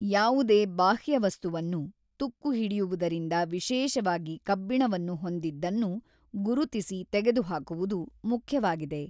ಯಾವುದೇ ಬಾಹ್ಯವಸ್ತುವನ್ನು, ತುಕ್ಕು ಹಿಡಿಯುವುದರಿಂದ ವಿಶೇಷವಾಗಿ ಕಬ್ಬಿಣವನ್ನು ಹೊಂದಿದ್ದನ್ನು, ಗುರುತಿಸಿ ತೆಗೆದುಹಾಕುವುದು ಮುಖ್ಯವಾಗಿದೆ.